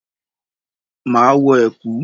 Máa wọ ẹ̀kú.